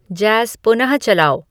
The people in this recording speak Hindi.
जैज़ पुनः चलाओ